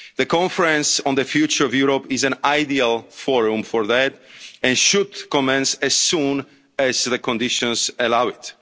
and local level. The Conference on the Future of Europe is an ideal forum for that and should commence as soon as conditions